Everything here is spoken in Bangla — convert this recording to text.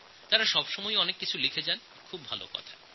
তাঁরা অনেক কিছু লিখতে থাকেন এটা খুব ভাল কথা